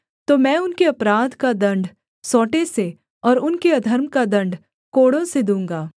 तो मैं उनके अपराध का दण्ड सोंटें से और उनके अधर्म का दण्ड कोड़ों से दूँगा